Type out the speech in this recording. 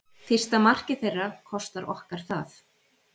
Fyrsta markið þeirra kostar okkar það.